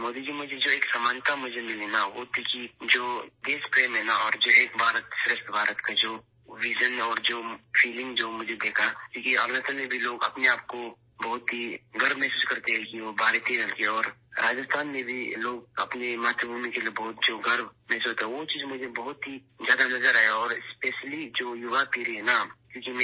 مودی جی، مجھے ایک مماثلت یہ ملی کہ ملک سے محبت کا نعرہ اور ایک بھارت شریشٹھ بھارت کا ویژن اور وہ احساس ، جو میں نے دیکھا کیونکہ اروناچل میں بھی لوگ اپنے آپ پر بہت فخر محسوس کرتے ہیں، وہ ایک بھارتی ہیں اور اس لیے راجستھان میں بھی لوگ اپنی مادر وطن کے لیے بہت فخر محسوس کرتے ہیں، وہ چیز مجھے بہت زیادہ نظر آئی اور خاص طور پر ، جو نوجوان نسل ہے